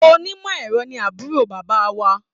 Onímọ̀-ẹ̀rọ ni àbúrò bàbá wa.